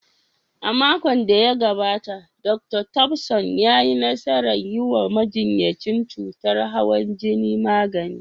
A makon da ya gabata, Dr. Thompson ya yi nasarar yi wa majinyacin cutar hawan jini magani.